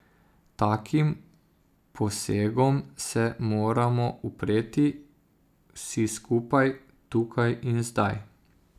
Takim posegom se moramo upreti, vsi skupaj, tukaj in zdaj.